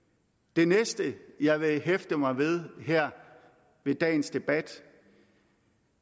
det næste jeg vil hæfte mig ved i dagens debat